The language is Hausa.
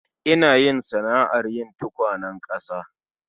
Ina yin sana'ar yin tukwanen ƙasa